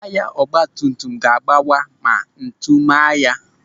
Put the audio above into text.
Taya ọgbatumtum ga-agbawa ma ntu maa ya.